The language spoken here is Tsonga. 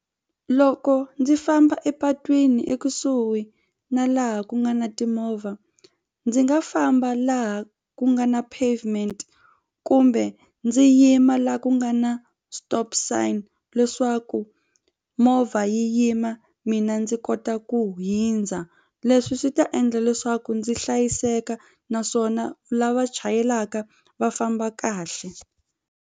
Loko ndzi famba epatwini ekusuhi na laha ku nga na timovha ndzi nga famba laha ku nga na pavement kumbe ndzi yima laha ku nga na stop sign leswaku movha yi yima mina ndzi kota ku hundza leswi swi ta endla leswaku ndzi hlayiseka naswona lava chayelaka va famba kahle.